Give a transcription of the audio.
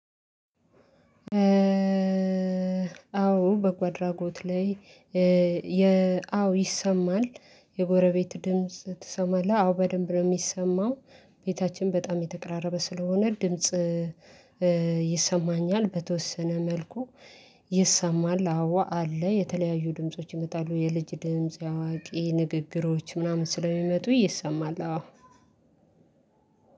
አዎ በጎ አድራጎት ላይ። አዎ ይሰማል። የጎረቤት ድምጽ ትሰማለህ አዎ በደንብ ነው የሚሰማው። ቤታችን በጣም የተቅራረበ ስለሆነ ድምጽ። ይሰማኛል በተወሰነ መልኩ። ይሰማል አዎ አለ የተለያዩ ድምጾች ይመጣሉ የልጅ ድምጽ የአዋቂ ንግግሮች ምናምን ስለሚመጡ ይሰማል አዎ።